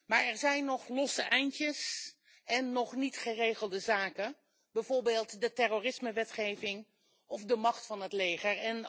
Maar er zijn nog losse eindjes en nog niet geregelde zaken, bijvoorbeeld de terrorisme wetgeving of de macht van het leger.